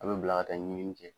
A be bila ka ɲinɲini kɛ